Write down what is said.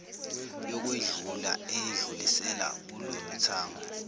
yokwedlula eyedlulisela kuloluthango